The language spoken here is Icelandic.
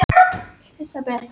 Heimild: Íslendinga sögur.